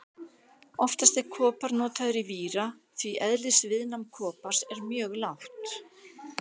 Oftast er kopar notaður í víra því eðlisviðnám kopars er mjög lágt.